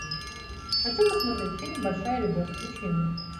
хочу посмотреть фильм большая любовь включи мне